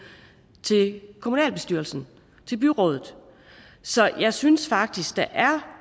til kommunalbestyrelsen til byrådet så jeg synes faktisk